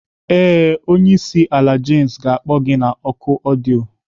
Ee, onye isi ala James ga-akpọ gị na oku ọdịyo.